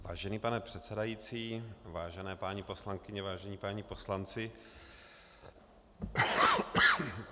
Vážený pane předsedající, vážené paní poslankyně, vážení páni poslanci...